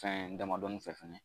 Fɛn damadɔni fɛ fɛnɛ